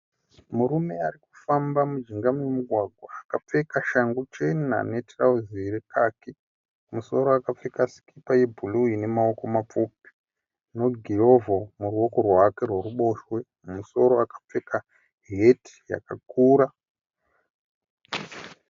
Murume ari kufamba mujinga memugwagwa akapfeka shangu chena netirauzi rekhakhi . Kumusoro akapfeka sikipa yebhuruu inemaoko mapfupi , negirovho muruoko rwake rweruboshwe. Mumusoro akapfeka hati yakakura.